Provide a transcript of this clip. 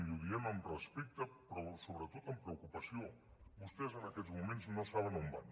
i ho diem amb respecte però sobretot amb preocupació vostès en aquests moments no saben on van